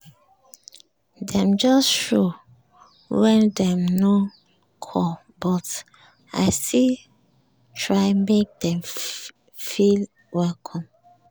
dem just show wen dem nor call but i still try make dem feel welcome.